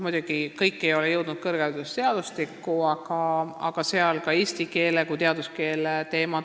Muidugi ei ole kõik jõudnud kõrgharidusseadustikku, aga kõne all oli ka eesti keele kui teaduskeele teema.